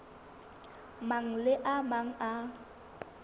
mang le a mang a